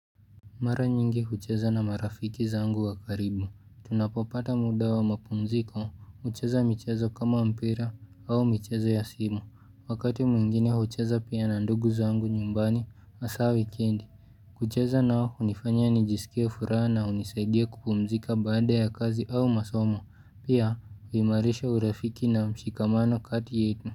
Mara nyingi hucheza na marafiki zangu wakaribu, tunapopata muda wa mapumziko, hucheza michezo kama mpira au michezo ya simu, wakati mwingine hucheza pia na ndugu zangu nyumbani hasaa wikendi, kucheza nao hunifanya nijisikia furaha na unisaidia kupumzika baada ya kazi au masomo, pia huimarisha urafiki na mshikamano kati yetu.